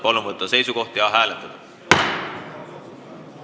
Palun võtta seisukoht ja hääletada!